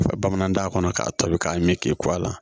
bamanankan kɔnɔ k'a tobi k'a mi k'i kuwa la